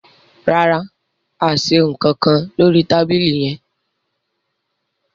ràrá a ṣe nkan nkán lórí tábìlì yén.